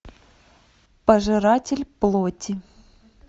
пожиратель плоти